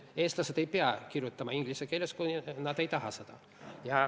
Eestlased ei pea kirjutama inglise keeles, kui nad ei taha seda.